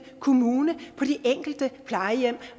kommune på de enkelte plejehjem